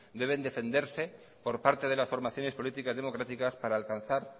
deben defenderse por parte de las formaciones políticas democráticas para alcanzar